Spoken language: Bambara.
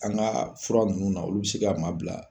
An ka fura nunnu na olu be se ka maa bila